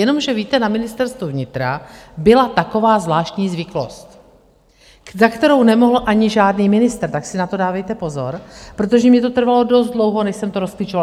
Jenomže víte, na Ministerstvu vnitra byla taková zvláštní zvyklost, na kterou nemohl ani žádný ministr, tak si na to dávejte pozor, protože mně to trvalo dost dlouho, než jsem to rozklíčovala.